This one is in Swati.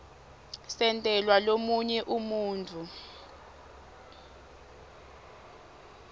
sentelwa lomunye umuntfu